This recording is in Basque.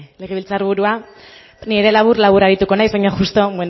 legebiltzar burua ni ere labur labur arituko naiz baina justu